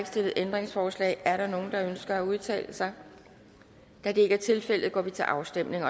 stillet ændringsforslag er der nogle der ønsker at udtale sig da det ikke er tilfældet går vi til afstemning